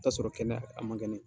I t'a sɔrɔ kɛnɛya a man kɛnɛ.